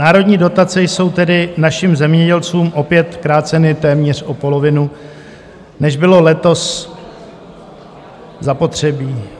Národní dotace jsou tedy našim zemědělcům opět kráceny téměř o polovinu, než bylo letos zapotřebí.